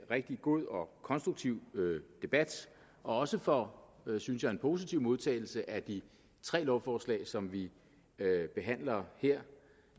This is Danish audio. rigtig god og konstruktiv debat og også for synes jeg en positiv modtagelse af de tre lovforslag som vi behandler her